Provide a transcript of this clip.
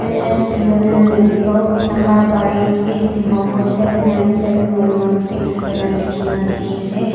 m s pioneer medical nahrbari east dimapur seven nine seven one one six koina likina diki ase